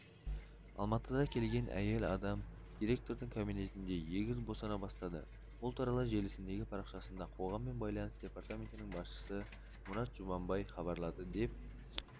алматыда келген әйел адам директордың кабинетінде егіз босана бастады бұл туралы желісіндегі парақшасында қоғаммен байланыс департаментінің басшысы мұрат жұманбай хабарлады деп